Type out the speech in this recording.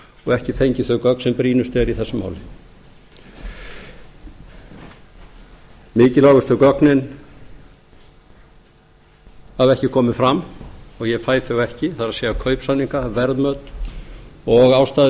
og ekki fengið þau gögn sem brýnust eru í þessu máli mikilvægustu gögnin hafa ekki komið fram og ég fæ þau ekki það er kaupsamninga verðmæti og ástæður